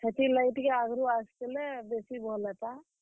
ହେତିର୍ ଲାଗି ଟିକେ ଆଘରୁ ଆସିଥିଲେ ବେସି ଭଲ୍ ହେତା।